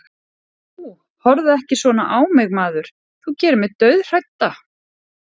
Nú, horfðu ekki svona á mig maður, þú gerir mig dauðhrædda.